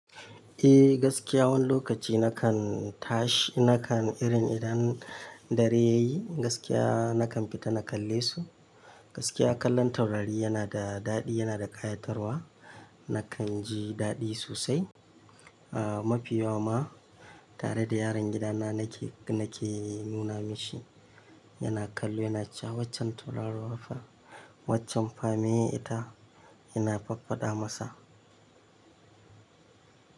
Eh gaskiya wani lokaci na kan tashi, na kan irin idan dare ya yi gaskiya na kan fita na kalle su. Gaskiya kallon taurari yana da daɗi, yana da ƙayatarwa. Na kan ji daɗi sosai. Aaa mafi yawa ma tare da yaron gidana na ke, na ke nuna mishi yana kallo, yana cewa waccan taurarowa fa, waccan fame ita yana faffada masa.